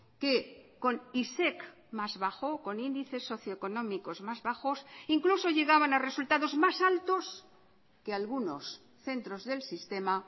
que con isec más bajo con índices socioeconómicos más bajos incluso llegaban a resultados más altos que algunos centros del sistema